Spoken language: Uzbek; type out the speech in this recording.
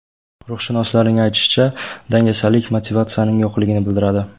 Ruhshunoslarning aytishicha, dangasalik motivatsiyaning yo‘qligini bildiradi.